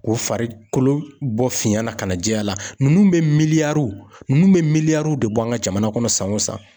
K'o fari kolo bɔ fiɲɛ na ka na jɛya, ninnu bɛ miliyariw ninnu miliriyaw de bɔ an ka jamana kɔnɔ san o san.